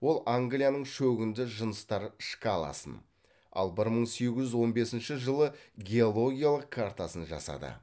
ол англияның шөгінді жыныстар шкаласын ал бір мың сегіз жүз он бесінші жылы геологиялық картасын жасады